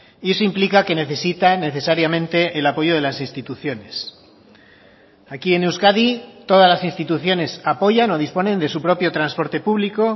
y eso implica que necesita necesariamente el apoyo de las instituciones aquí en euskadi todas las instituciones apoyan o disponen de su propio transporte público